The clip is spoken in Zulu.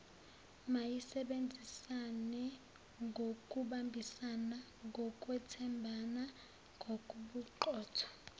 mayisebenzisanengokubambisana ngokwethembana nagobuqotho